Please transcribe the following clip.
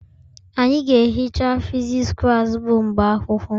Anyị ga-ehicha physics klas bụ mgbe akwụkwọ